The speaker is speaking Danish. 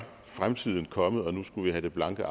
fremtiden kommet og nu skulle vi have det blanke